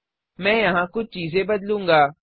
मैं यहाँ कुछ चीजें बदलूँगा